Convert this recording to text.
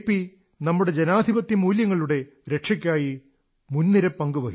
നമ്മുടെ ജനാധിപത്യ മൂല്യങ്ങളുടെ രക്ഷയ്ക്കായി മുൻനിര പങ്കു വഹിച്ചു